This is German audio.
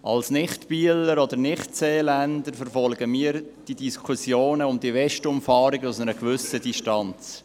Als Nicht-Bieler und Nicht-Seeländer verfolgen wir diese Diskussionen um die Westumfahrung aus einer gewissen Distanz.